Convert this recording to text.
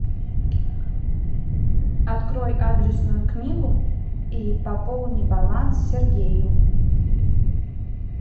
открой адресную книгу и пополни баланс сергею